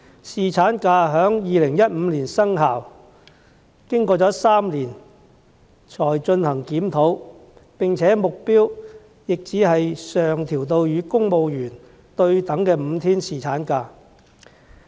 侍產假在2015年生效，經過3年才進行檢討，而目標也只是將日數上調至與公務員對等的5天侍產假。